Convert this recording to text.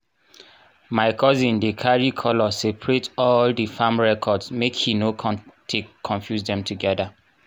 my cousion dey carry colour sepaerate all di farm record make he no take confuse dem togeda.